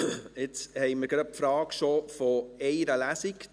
Jetzt kommen wir bereits zur Frage nach einer Lesung: